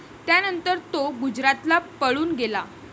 त्यानंतर तो गुजरातला पळून गेला.